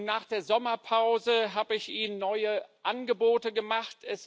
Nach der Sommerpause habe ich Ihnen neue Angebote gemacht.